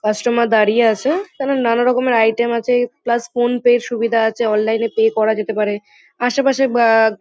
Customer দাঁড়িয়ে আছে। তারা নানারকমের আইটেম আছে প্লাস ফোনপে -র সুবিধা আছে অনলাইন -এ পে করা যেতে পারে আশেপাশে বা--